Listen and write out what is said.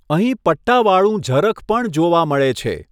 અહીં પટ્ટાવાળું ઝરખ પણ જોવા મળે છે.